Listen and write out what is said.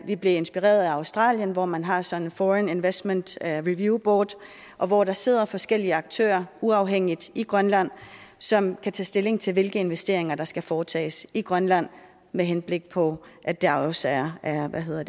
vi blev inspireret af australien hvor man har sådan et foreign investment review board og hvor der sidder forskellige aktører uafhængigt i grønland som kan tage stilling til hvilke justeringer der skal foretages i grønland med henblik på at der også er